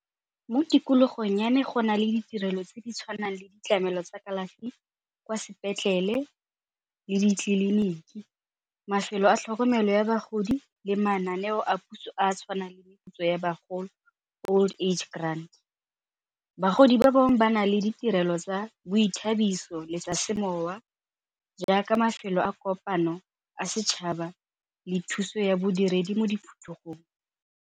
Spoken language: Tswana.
Mo tikologong ya me go na le ditirelo tse di tshwanang le ditlamelo tsa kalafi kwa sepetlele le ditleliniki, mafelo a tlhokomelo ya bagodi le mananeo a puso a a tshwanang le meputso ya bagodi, old age grant. Bagodi ba bangwe ba na le ditirelo tsa boithabiso le tsa semowa jaaka mafelo a kopano a setšhaba le thuso ya bodiredi mo .